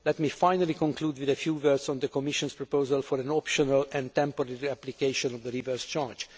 problems. Let me finally conclude with a few words on the Commission's proposal for an optional and temporary application of the reverse